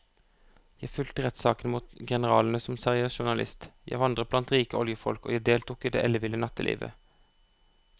Jeg fulgte rettssakene mot generalene som seriøs journalist, jeg vandret blant rike oljefolk og jeg deltok i det elleville nattelivet.